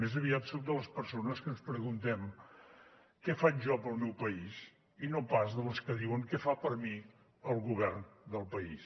més aviat soc de les persones que ens preguntem què faig jo pel meu país i no pas de les que diuen què fa per mi el govern del país